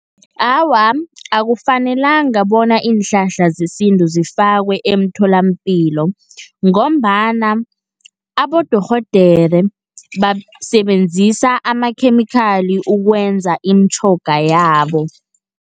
Awa, akufanelanga bona iinhlahla zesintu zifakwe emtholapilo, ngombana abodorhodere basebenzisa amakhemikhali ukwenza imitjhoga yabo.